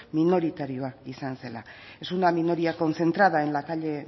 minoritarioa izan zela es una minoría concentrada en la calle